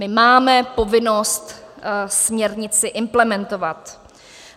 My máme povinnost směrnici implementovat.